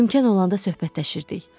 İmkan olanda söhbətləşirdik.